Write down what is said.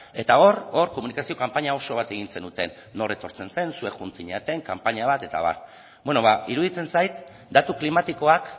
eta hor komunikazio kanpaina oso bat egin zenuten nor etortzen zen zuek joan zinaten kanpaina bat eta abar bueno ba iruditzen zait datu klimatikoak